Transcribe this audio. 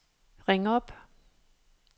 ring op